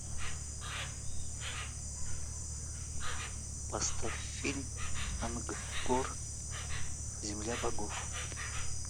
поставь фильм ангкор земля богов